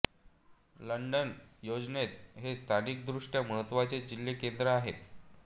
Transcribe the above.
London योजनेत हे स्थानिकदृष्ट्या महत्त्वाचे जिल्हा केंद्र आहे